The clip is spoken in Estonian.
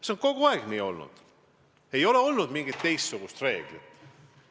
See on kogu aeg nii olnud, ei ole olnud mingit teistsugust reeglit.